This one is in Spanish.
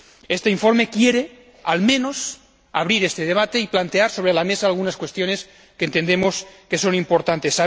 Este informe quiere, al menos, abrir este debate y plantear sobre la mesa algunas cuestiones que entendemos que son importantes.